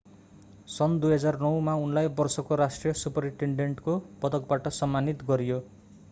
सन् 2009 मा उनलाई वर्षको राष्ट्रिय सुपरिटेन्डेन्टको पदकबाट सम्मानित गरियो